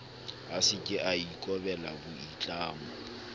a seke a ikobela boitlamo